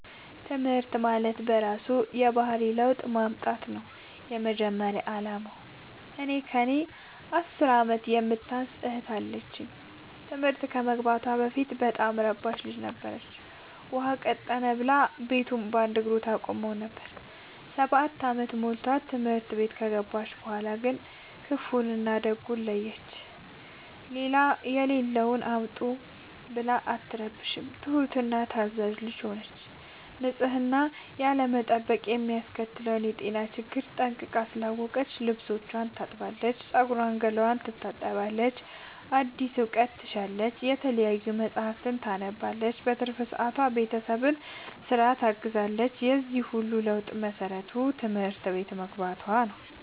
ትምህርት ማለት በእራሱ የባህሪ ለውጥ ማምጣት ነው የመጀመሪያ አላማው። እኔ ከእኔ አስር አመት የምታንስ እህት አለችኝ ትምህርት ከመግባቷ በፊት በጣም እረባሽ ልጅ ነበረች። ውሃ ቀጠነ ብላ ቤቱን በአንድ እግሩ ታቆመው ነበር። ሰባት አመት ሞልቶት ትምህርት ቤት ከገባች በኋላ ግን ክፋውን እና ደጉን ለየች። የሌለውን አምጡ ብላ አትረብሽም ትሁት እና ታዛዣ ልጅ ሆነች ንፅህናን ያለመጠበቅ የሚያስከትለውን የጤና ችግር ጠንቅቃ ስላወቀች ልብስቿን ታጥባለች ፀጉሯን ገላዋን ትታጠባለች አዲስ እውቀት ትሻለች የተለያዩ መፀሀፍትን ታነባለች በትርፍ ሰዓቷ ቤተሰብን ስራ ታግዛለች የዚህ ሁሉ ለውጥ መሰረቱ ትምህርት ቤት መግባቶ ነው።